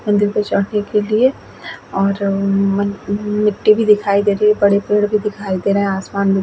मंदिर पर चढ़ने के लियें और अअअ म मिट्टी भी दिखाई दे रही है बड़े पेड़ भी दिखाई दे रहे है आसमान भी --